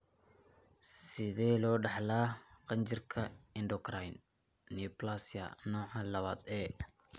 Sidee loo dhaxlaa qanjirka 'endocrine neoplasia' nooca lawad A?